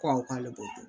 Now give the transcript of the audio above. Ko awɔ k'ale b'o dɔn